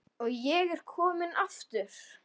Og ég er kominn aftur!